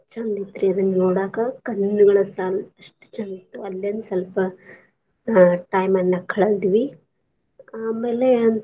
ಚಂದ್ ಇತ್ರೀ ಅದನ್ ನೋಡಾಕ ಕಣ್ಣುಗಳ ಸಾಲದು ಅಸ್ಟ ಚಂದಿತ್ತು ಅಲ್ಲೋಂಸಲ್ಪ ಅ time ಅನ್ನ ಕಳದ್ವಿ ಆಮೇಲೆ.